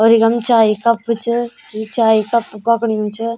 और इखम चाई कप च यि चाई कप पकड़यूं च।